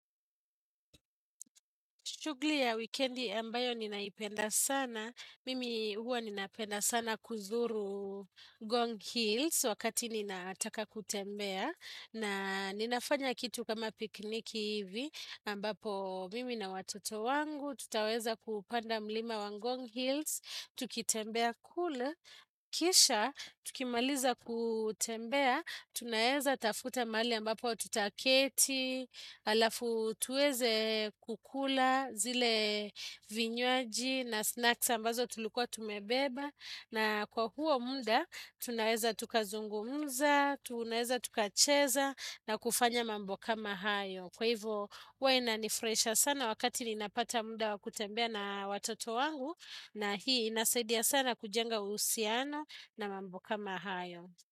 Shughli ya wikendi ambayo ninaipenda sana, mimi huwa ninapenda sana kuzuru ngong hills wakati ninataka kutembea. Na ninafanya kitu kama piknik ivi ambapo mimi na watoto wangu, tutaweza kuupanda mlima wa ngong Hills, tukitembea kule, kisha, tukimaliza kutembea, tunaeza tafuta mahali ambapo tutaketi, alafu tuweze kukula. Zile vinywaji na snacks ambazo tulikua tumebeba na kwa huo mda tunaeza tukazungumza tunaeza tukacheza na kufanya mambo kama hayo kwa hivyo huwa inanifraisha sana wakati ninapata mda wa kutembea na watoto wangu na hii inasaidia sana kujenga uhusiano na mambo kama hayo.